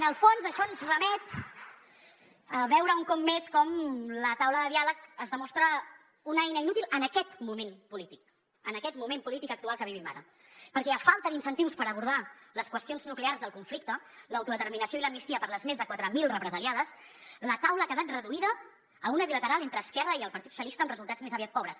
en el fons això ens remet a veure un cop més com la taula de diàleg es demostra una eina inútil en aquest moment polític en aquest moment polític actual que vivim ara perquè a falta d’incentius per abordar les qüestions nuclears del conflicte l’autodeterminació i l’amnistia per a les més de quatre mil represaliades la taula ha quedat reduïda a una bilateral entre esquerra i el partit socialista amb resultats més aviat pobres